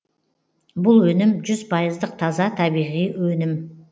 бұл өнім жүз пайыздық таза табиғи өнім